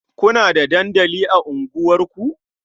Kuna da dandaki a unguwarku?